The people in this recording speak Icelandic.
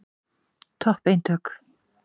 Topp eintök.